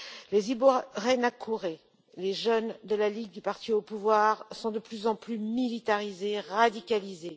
Les Imbonerakure les jeunes de la ligue du parti au pouvoir, sont de plus en plus militarisés et radicalisés.